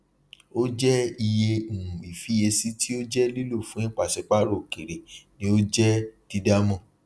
o jẹ iye um ifiyesi ti o jẹ lílò fún ipasipaarọ okere ní o jẹ dídámọ